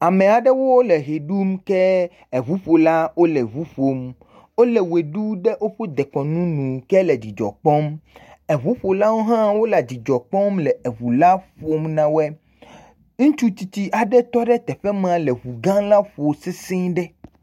Ame aɖewo le ʋe ɖum, ke ŋuƒolawo le eŋu ƒom, wole wɔe ɖum le dekɔnu nu ke le dzidzɔ kpɔm. Eŋuƒolawo hã wole dzidzɔ kpɔm le eŋu la ƒom na wɔe. Ŋutsutsitsi aɖe tɔ ɖe teƒe ma le ŋu gã la ƒom sesɛ̃e ɖe.